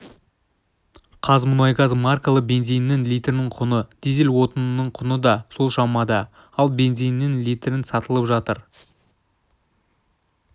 қазмұнайгаз маркалы бензинінің литрінің құны дизель отынының құны да сол шамада ал бензинінің литріт сатылып жатыр